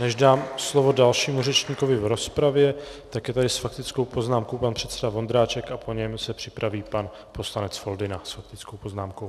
Než dám slovo dalšímu řečníkovi v rozpravě, tak je tady s faktickou poznámkou pan předseda Vondráček a po něm se připraví pan poslanec Foldyna s faktickou poznámkou.